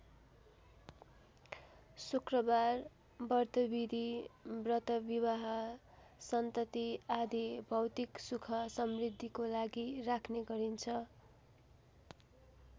शुक्रबार व्रतविधि व्रत विवाह सन्तति आदि भौतिक सुख समृद्धिको लागि राख्ने गरिन्छ।